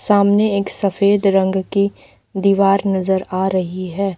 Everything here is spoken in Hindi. सामने एक सफेद रंग की दीवार नजर आ रही है।